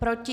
Proti?